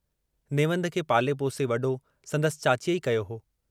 नेवंद खे पाले पोसे वडो संदसि चाचीअ ई कयो हो।